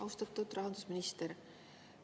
Austatud rahandusminister!